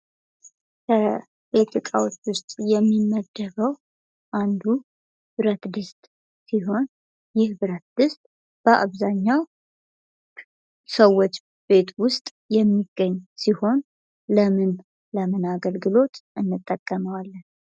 የቤት እቃዎች ውስጥ የሚመደበው አንዱ ብረት ድስት ሲሆን ይህ ብረት ድስት በአብዛኛው ሰዎች ቤት ውስጥ የሚገኝ ሲሆን ለምን ለምን አገልግሎት እንጠቀመዋለን?